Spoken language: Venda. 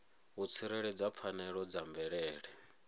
u tsireledza pfanelo dza mvelele